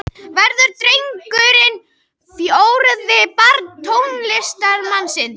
Verður drengurinn fjórða barn tónlistarmannsins